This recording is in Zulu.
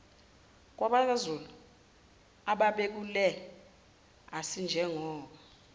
kwabakwazulu ababebukele asinjengoba